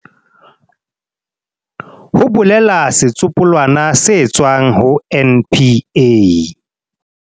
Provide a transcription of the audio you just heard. ho bolela setsopolwana se tswang ho NPA.